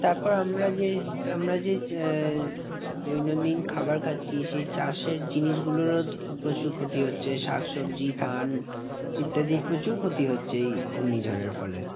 তারপর আমরা যে, আমরা যে আহ দৈনন্দিন খাবার খাচ্ছি সেই চাষের জিনিসগুলোরও প্রচুর ক্ষতি হচ্ছে। শাকসবজি ধান ইত্যাদির প্রচুর ক্ষতি হচ্ছে এই ঘূর্ণিঝড়ের ফলে।